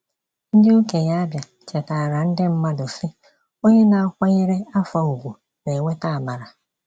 Ndị okenye Abia chetaara ndị mmadụ sị, “Onye na-akwanyere afọ ùgwù na-enweta amara.”